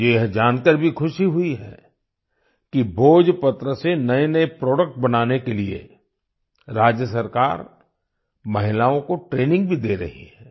मुझे यह जानकर भी खुशी हुई है कि भोजपत्र से नएनए प्रोडक्ट बनाने के लिए राज्य सरकार महिलाओं को ट्रेनिंग भी दे रही है